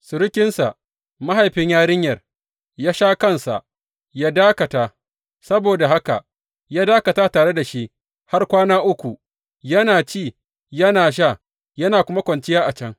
Surukinsa, mahaifin yarinyar, ya sha kansa, yă dakata; saboda haka ya dakata tare da shi har kwana uku, yana ci yana sha, yana kuma kwanciya a can.